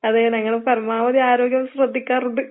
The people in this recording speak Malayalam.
അതെ ഞങ്ങള് പരമാവധി ആരോഗ്യം ശ്രദ്ധിക്കാറുണ്ട്.